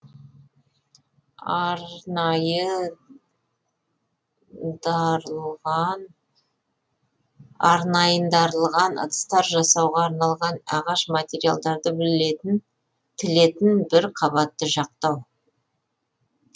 арнайындарылған ыдыстар жасауға арналған ағаш материалдарды тілетін бір қабатты жақтау